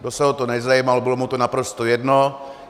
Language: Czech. Nikdo se o to nezajímal, bylo jim to naprosto jedno.